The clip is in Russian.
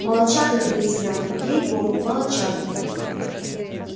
молодчага ты лейтенант ей богу молодчага